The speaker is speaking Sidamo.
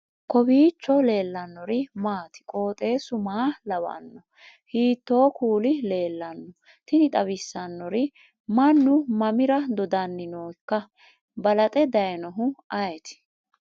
kowiicho leellannori maati ? qooxeessu maa lawaanno ? hiitoo kuuli leellanno ? tini xawissannori mannu mamira dodanni nooika balaxe dayinohu ayeeti